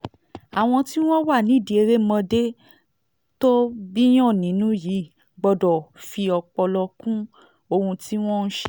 àwọn tí wọ́n wà nídìí erémọdé tó bíiyàn nínú yìí gbọ́dọ̀ fi ọpọlọ kún ohun tí wọ́n ń ṣe